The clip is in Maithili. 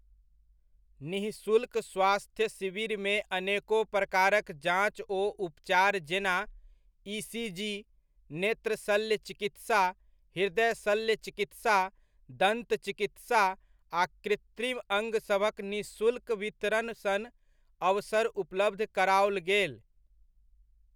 निःशुल्क स्वास्थ्य शिविरमे अनेको प्रकारक जाँच ओ उपचार जेना ई.सी.जी, नेत्र शल्य चिकित्सा, हृदय शल्य चिकित्सा, दन्त चिकित्सा आ कृत्रिम अङ्ग सभक निःशुल्क वितरण सन अवसर उपलब्ध कराओल गेल।